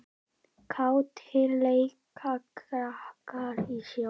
Kátir leika krakkar í snjó.